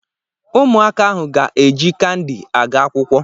Ụmụaka ahụ ga-eji kandi aga akwụkwọ.